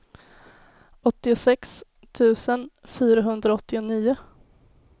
åttiosex tusen fyrahundraåttionio